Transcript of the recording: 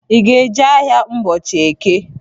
I ga-eje ahịa ụbọchị eke?